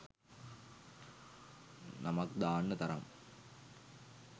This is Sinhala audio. නමක් දාන්න තරම්